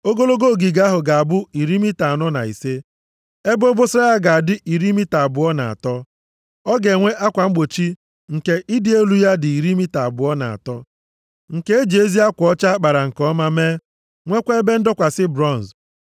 Ogologo ogige ahụ ga-abụ iri mita anọ na ise. Ebe obosara ya ga-adị iri mita abụọ na atọ. Ọ ga-enwe akwa mgbochi nke ịdị elu ya dị iri mita abụọ na atọ, nke e ji ezi akwa ọcha a kpara nke ọma mee, nwekwa ebe ndọkwasị bronz.